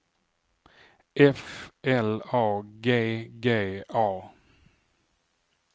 F L A G G A